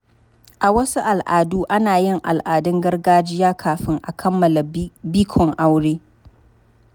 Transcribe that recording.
A wasu al'adu, ana yin al'adun gargajiya kafin a kammala bikon aure.